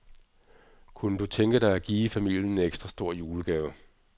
Kunne du tænke dig at give familien en ekstra stor julegave.